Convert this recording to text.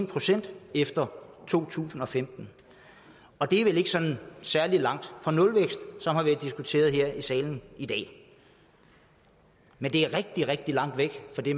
procent efter to tusind og femten og det er vel ikke sådan særlig langt fra nulvækst som har været diskuteret her i salen i dag men det er rigtig rigtig langt væk fra det